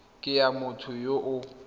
ke ya motho yo o